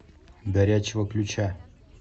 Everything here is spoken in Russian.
горячего ключа